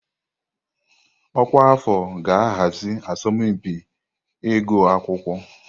Ọkwa afọ ga-ahazi asọmpi ịgụ akwụkwọ.